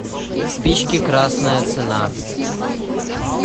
спички красная цена